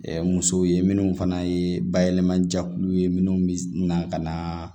musow ye minnu fana ye bayɛlɛmajɛkuluw ye minnu bɛ na ka na